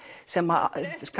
sem